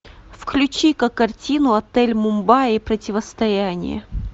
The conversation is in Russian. включи ка картину отель мумбаи и противостояние